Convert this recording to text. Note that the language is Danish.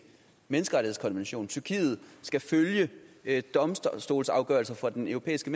menneskerettighedskonvention tyrkiet skal følge domstolsafgørelser fra den europæiske